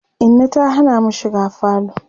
Inna ta Hana mu shiga falo